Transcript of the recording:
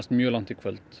mjög langt í kvöld